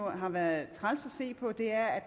har været træls at se på er